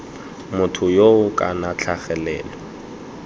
motho yoo kana ii tlhagelelo